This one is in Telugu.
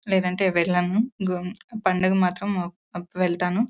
లేదంటే వెళ్ళాను. పండగ మాత్రం వెళ్తాను.